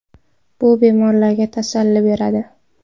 Bu bemorlarga tasalli beradi.